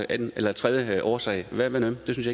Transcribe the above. anden eller tredje årsag hvad med dem det synes